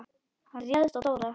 Hann réðst á Dóra.